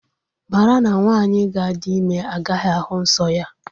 Mara na nwaanyị ga-adi ime agaghi ahụ nsọ ya.